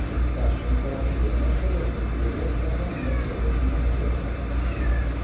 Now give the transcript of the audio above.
Dersom karakterene skal offentliggjøres, må mange flere ting vurderes.